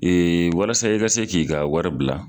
Ee walasa i ka se k'i ka wari bila